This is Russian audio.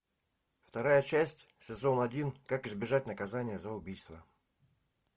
вторая часть сезон один как избежать наказания за убийство